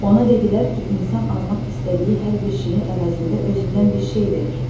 Ona dedilər ki, insan almaq istədiyi hər bir şeyin əvəzində özündən bir şey verir.